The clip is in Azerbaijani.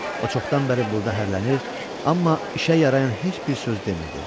O çoxdan bəri burda hərlənir, amma işə yarayan heç bir söz demirdi.